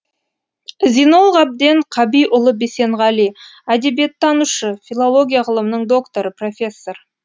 зинол ғабден қабиұлы бисенғали әдебиеттанушы филология ғылымының докторы профессор